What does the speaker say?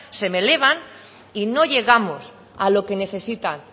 se me elevan y no llegamos a lo que necesitan